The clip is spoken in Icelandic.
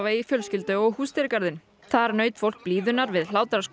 í fjölskyldu og húsdýragarðinn þar naut fólk blíðunnar við